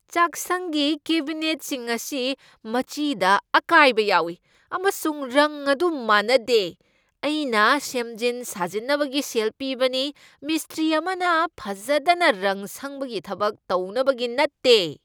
ꯆꯥꯛꯁꯪꯒꯤ ꯀꯦꯕꯤꯅꯦꯠꯁꯤꯡ ꯑꯁꯤ ꯃꯆꯤꯗ ꯑꯀꯥꯏꯕ ꯌꯥꯎꯢ, ꯑꯃꯁꯨꯡ ꯔꯪ ꯑꯗꯨ ꯃꯥꯟꯅꯗꯦ꯫ ꯑꯩꯅ ꯁꯦꯝꯖꯤꯟ ꯁꯥꯖꯤꯟꯅꯕꯒꯤ ꯁꯦꯜ ꯄꯤꯕꯅꯤ, ꯃꯤꯁꯇ꯭ꯔꯤ ꯑꯃꯅ ꯐꯖꯗꯅ ꯔꯪ ꯁꯪꯕꯒꯤ ꯊꯕꯛ ꯇꯧꯅꯕꯒꯤ ꯅꯠꯇꯦ꯫